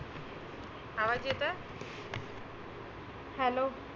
आवाज येतं? hello